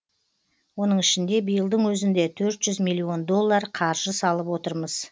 оның ішінде биылдың өзінде төрт жүз миллион доллар қаржы салып отырмыз